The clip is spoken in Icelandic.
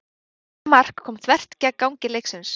Þetta mark kom þvert gegn gangi leiksins.